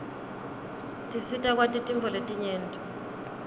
tisita kwati tintfo letinyenti